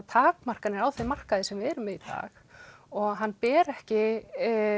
takmarkanir á þeim markaði sem við erum í dag og hann ber ekki